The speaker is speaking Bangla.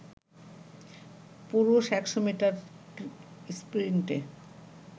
পুরুষ ১০০ মিটার স্প্রিন্টে